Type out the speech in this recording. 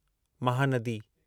Mahanadi